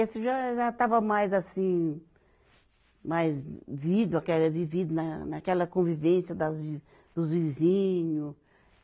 Esse já, já estava mais assim, mais vivido, vivido naquela convivência das, dos vizinhos.